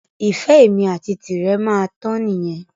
Ìfẹ́ èmi àti tirẹ̀ máa tán nìyẹn